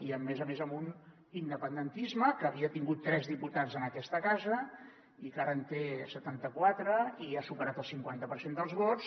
i a més a més amb un independentisme que havia tingut tres diputats en aquesta casa i que ara en té setanta·quatre i ha superat el cinquanta per cent dels vots